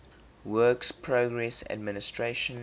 works progress administration